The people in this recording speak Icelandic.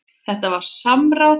Þetta var samráð.